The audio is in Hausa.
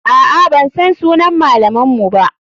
Aa, bansan sunan malaman mu ba.